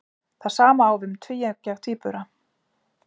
Það sama á við um tvíeggja tvíbura.